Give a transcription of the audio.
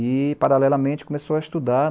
E, paralelamente, começou a estudar.